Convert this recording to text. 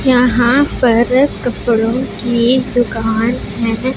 यहां पर कपड़ों की दुकान नजर--